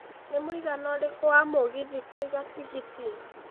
nĩ mwĩigana ũrĩkũ wa mũgithi kũiga tigiti